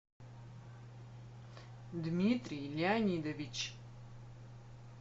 дмитрий леонидович